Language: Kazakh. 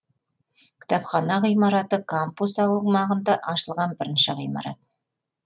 кітапхана ғимараты кампус аумағында ашылған бірінші ғимарат